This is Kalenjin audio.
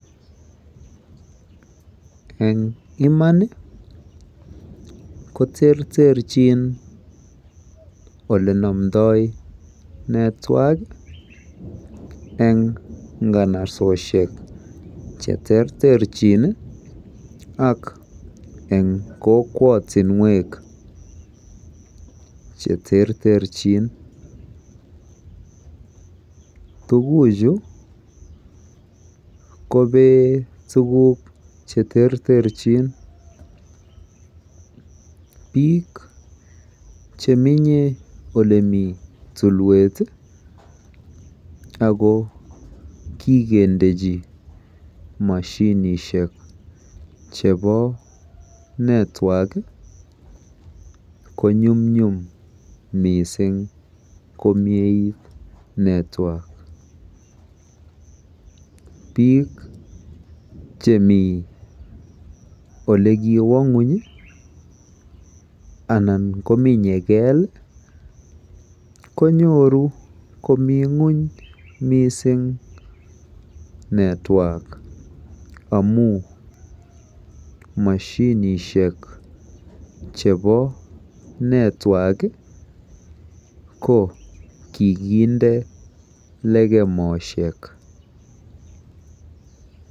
Eng iman ko terterchin olenomdoi network eng nganasosiek cheterterchin ak eng kokwotinwek cheterterchin. Tuguchu kobee tuguk cheterterchin. Biik chemi olemi tulwet ako kikendechi mashinishiek chebo network konyumnyum mising komiet network. Biik chemi olekiwo ng'ony anan kominye keel konyoru komi ng'ony mising network amu mashinishiek chebo network ko kikinde lekemosiek.